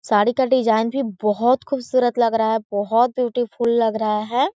साड़ी का डिजाईन भी बोहत खूबसूरत लग रहा है बोहत ब्यूटीफुल लग रहा है।